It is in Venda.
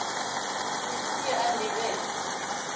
ni si a ḓivhe toe